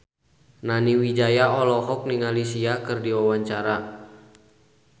Nani Wijaya olohok ningali Sia keur diwawancara